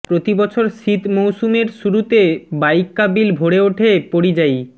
প্রতিবছর শীত মৌসুমের শুরুতে বাইক্কা বিল ভরে উঠে পরিযায়ী